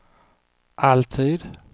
alltid